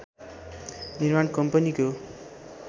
निर्माण कम्पनीको